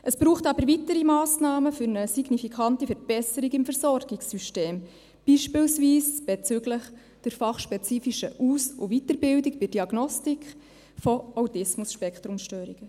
Es braucht aber weitere Massnahmen für eine signifikante Verbesserung im Versorgungssystem, beispielsweise bezüglich der fachspezifischen Aus- und Weiterbildung bei der Diagnostik von ASS.